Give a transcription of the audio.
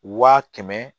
Wa kɛmɛ